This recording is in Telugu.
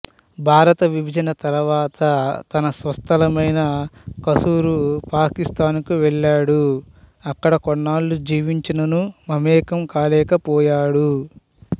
భారత విభజన తరువాత తన స్వస్థలమైన కసూర్ పాకిస్తాన్ కు వెళ్ళాడు అక్కడ కొన్నాళ్ళు జీవించిననూ మమేకం కాలేకపోయాడు